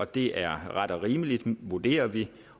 det er ret og rimeligt vurderer vi